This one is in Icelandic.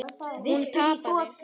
Hún tapaði.